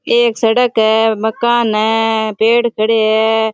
एक सड़क है मकान है पेड़ खड़े है।